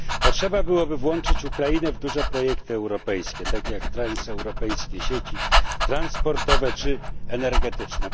Trzeba by było włączyć Ukrainę w duże projekty europejskie, takie jak transeuropejskie sieci transportowe czy energetyczne.